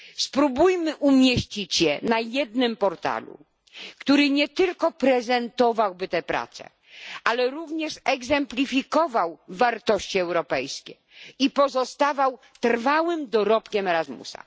Spróbujmy umieścić je na jednym portalu, który nie tylko prezentowałby te prace, ale również egzemplifikowałby wartości europejskie i pozostawał trwałym dorobkiem Erasmusa.